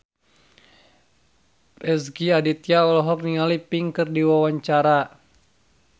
Rezky Aditya olohok ningali Pink keur diwawancara